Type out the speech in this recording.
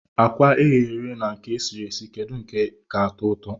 Akwa eghere eghe na nke esiri esi kedu nke ka atọụtọ?